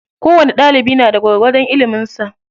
Kowani ɗalibi na da gwargwadon ilimin sa.